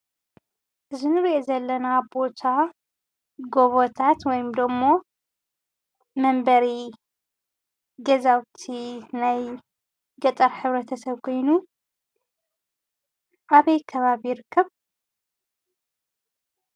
እዚ እንሪኦ ዘለና ቦታ ጎቦታት ወይ ድማ መንበሪ ገዛውቲ ናይ ገጠር ሕብረተሰብ ኮይኑ ኣበይ ከባቢ ይርከብ?